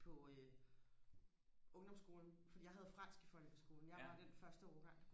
på øh ungdomsskolen fordi jeg havde fransk i folkeskolen jeg var den første årgang